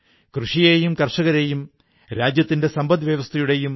Thoothukudi pearl city അതായത് മുത്തുകളുടെ നഗരം എന്നും അറിയപ്പെടുന്നു